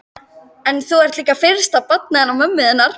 En þú ert líka fyrsta barnið hennar mömmu þinnar.